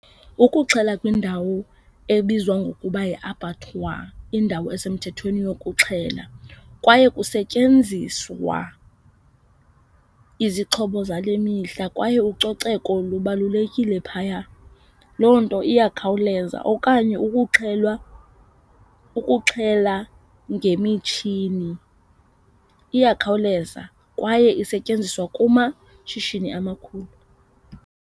Ukuxhela kwindawo ebizwa ngokuba yiAbattoir indawo esemthethweni yokuxhela kwaye kusetyenziswa izixhobo zale mihla kwaye ucoceko lubalulekile phaya. Loo nto iyakhawuleza okanye ukuxhelwa, ukuxhela ngemitshini iyakhawuleza kwaye isetyenziswa kumashishini amakhulu.